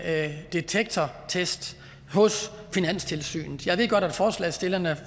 detektortest hos finanstilsynet jeg ved godt at forslagsstillerne